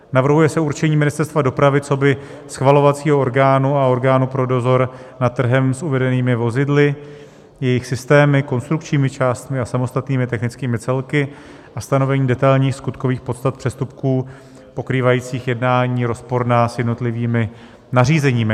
Navrhuje se určení Ministerstva dopravy coby schvalovacího orgánu a orgánu pro dozor nad trhem s uvedenými vozidly, jejich systémy, konstrukčními částmi a samostatnými technickými celky a stanovení detailních skutkových podstat přestupků pokrývajících jednání rozporná s jednotlivými nařízeními.